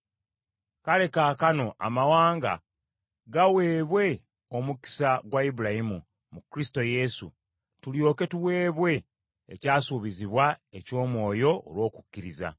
Kale kaakano amawanga gaweebwe omukisa gwa Ibulayimu, mu Kristo Yesu, tulyoke tuweebwe ekyasuubizibwa eky’Omwoyo olw’okukkiriza.